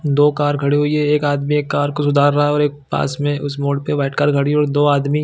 --दो कार खड़ी हुई है एक आदमी एक कार को सुधार रहा है और एक पास में उस मोड़ पर वाइट दो आदमी--